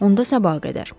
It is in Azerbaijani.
Onda sabaha qədər.